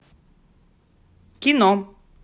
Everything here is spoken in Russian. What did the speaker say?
кино